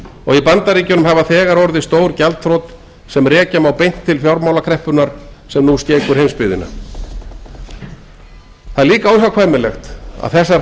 og í bandaríkjunum hafa þegar orðið stór gjaldþrot sem rekja má beinlínis til fjármálakreppunnar sem nú skekur heimsbyggðina það er líka óhjákvæmilegt að þessar